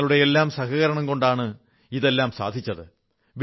നിങ്ങളുടെയെല്ലാം സഹകരണംകൊണ്ടാണ് ഇതെല്ലാം സാധിച്ചത്